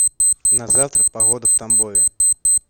на завтра погода в тамбове